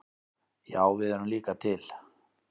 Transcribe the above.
Já við erum líka til!